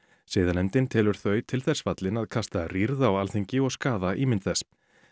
siðanefndin telur þau til þess fallin að kasta rýrð á Alþingi og skaða ímynd þess